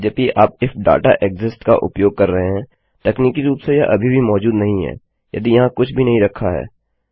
यद्यपि आप if data exists का उपयोग कर रहे हैं तकनीकी रूप से यह अभी भी मौजूद नहीं है यदि यहाँ कुछ भी नहीं रखा है